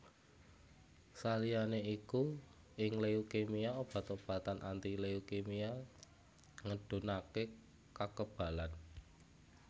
Saliyané iku ing leukemia obat obatan anti leukimia ngedhunaké kakebalan